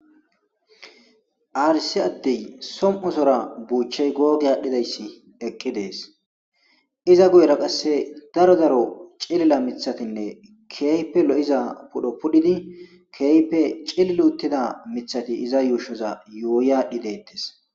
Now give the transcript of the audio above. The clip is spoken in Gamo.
aarisi addey som7osora buuchey googi aadhdhidayssi eqqi dees iza guyera qasse daro zaro cilila mithatinne keeype lo7iza pudho pudhidi keeype cililuttida mithati iza yuushoza yooyaadhi deettes